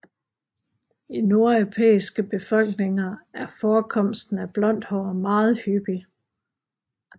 I nordeuropæiske befolkninger er forekomsten af blondt hår meget hyppig